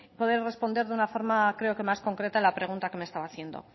para poder responder de una forma creo que más concreta la pregunta que me estaba haciendo